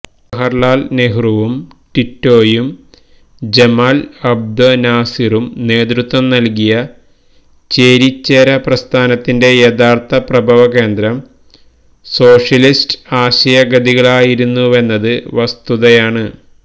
ജവഹര് ലാല് നെഹ്റുവും ടിറ്റോയും ജമാല് അബ്ദുന്നാസിറും നേതൃത്വം നല്കിയ ചേരിചേരാ പ്രസ്ഥാനത്തിന്റെ യഥാര്ഥ പ്രഭവകേന്ദ്രം സോഷ്യലിസ്റ്റ് ആശയഗതികളായിരുന്നുവെന്നത് വസ്തുതയാണ്